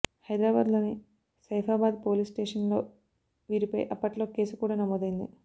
హైదరాబాద్ లోని Saifabad police station లో వీరిపై అప్పట్లో కేసు కూడా నమోదైంది